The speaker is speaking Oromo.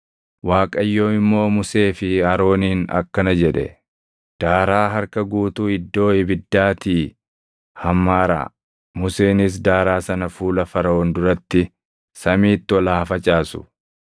Waaqayyo immoo Musee fi Arooniin akkana jedhe; “Daaraa harka guutuu iddoo ibiddaatii hammaaraa; Museenis daaraa sana fuula Faraʼoon duratti samiitti ol haa facaasu.